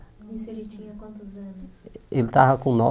Isso ele tinha quantos anos? Ele estava com